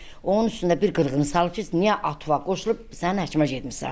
Onun üstündə bir qırğını salıb ki, niyə atına qoşulub səni həkimə getmisən?